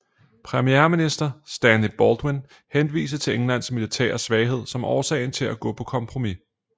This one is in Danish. Premierminister Stanley Baldwin henviste til Englands militære svaghed som årsagen til at gå på kompromis